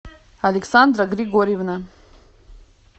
александра григорьевна